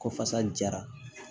Ko fasa jara